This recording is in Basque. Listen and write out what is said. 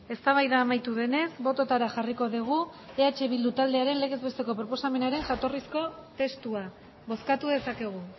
eztabaida amaitu denez bototara jarriko dugu eh bildu taldearen legez besteko proposamenaren jatorrizko testua bozkatu dezakegu